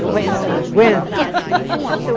Aguenta. Aguenta